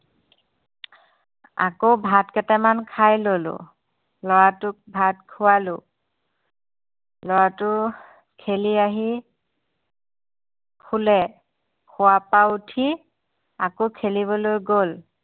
আকৌ ভাতকেইটামান খাই ললোঁ লৰাটোক ভাত খুৱালোঁ লৰাটো খেলি আহি শুলে শুৱাপা উঠি আকৌ খেলিবলৈ গল